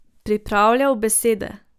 Pripravljal besede.